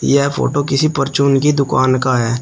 यह फोटो किसी परचून की दुकान का है।